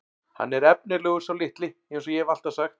Hann er efnilegur sá litli eins og ég hef alltaf sagt.